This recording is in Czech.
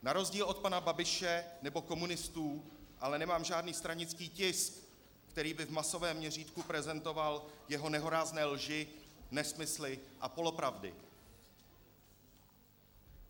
Na rozdíl od pana Babiše nebo komunistů ale nemám žádný stranický tisk, který by v masovém měřítku prezentoval jeho nehorázné lži, nesmysly a polopravdy.